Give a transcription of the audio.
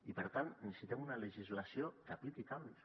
i per tant necessitem una legislació que apliqui canvis